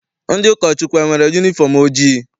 Ndị ụkọchukwu enwere yunifọm ojii?